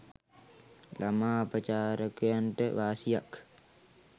ළමා අපචාරකයන්ට වාසියක්